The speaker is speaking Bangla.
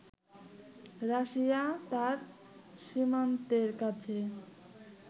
রাশিয়া তার সীমান্তের কাছে